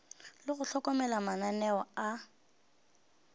le go hlokomela mananeo a